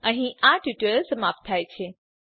અહીં આ ટ્યુટોરીયલ સમાપ્ત થાય છે